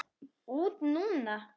Út núna?